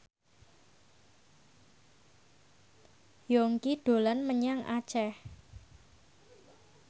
Yongki dolan menyang Aceh